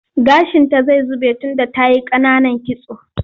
Gashinta zai zube tunda ta yi ƙananan kitso.